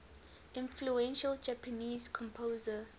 influential japanese composer